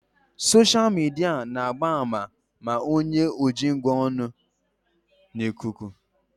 Soshal midia na-agba àmà ma onye ojingwa ọ nọ n'ikuku